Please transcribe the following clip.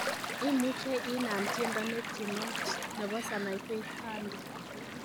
imuche inaam tiendo netienot nepo sanaipei tande